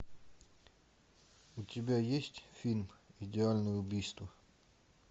у тебя есть фильм идеальное убийство